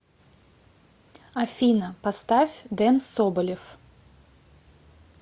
афина поставь ден соболев